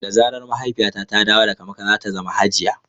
Da zarar mahaifiyata ta dawo daga makka, za ta zama hajiya.